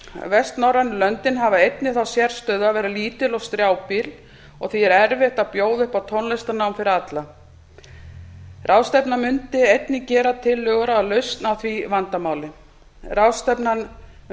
vestnorrænu löndin hafa einnig þá sérstöðu að vera lítil og strjálbýl og því er erfitt að bjóða upp á tónlistarnám fyrir alla ráðstefnan mundi einnig gera tillögur að lausn á því vandamáli ráðstefna um